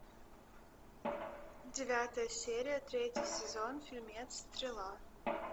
девятая серия третий сезон фильмец стрела